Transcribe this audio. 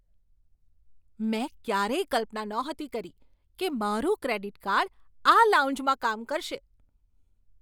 મેં ક્યારેય કલ્પના નહોતી કરી કે મારું ક્રેડિટ કાર્ડ આ લાઉન્જમાં કામ કરશે!